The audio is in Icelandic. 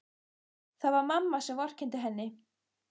Það var mamma sem vorkenndi henni.